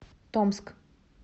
томск